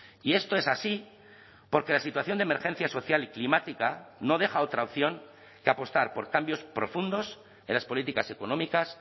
y esto es así porque la situación de emergencia social y climática no deja otra opción que apostar por cambios profundos en las políticas económicas